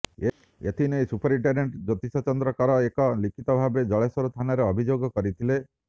ଏଥିନେଇ ସୁବରିଟେଣ୍ଡେଣ୍ଟ ଜ୍ୟେତିଷ ଚନ୍ଦ୍ର କର ଏକ ଲିଖିତଭାବେ ଜଳେଶ୍ୱର ଥାନାରେ ଅଭିଯୋଗ କରିଥିଲେ